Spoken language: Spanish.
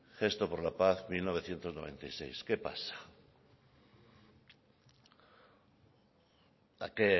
gesto por la paz mil novecientos noventa y seis qué pasa a qué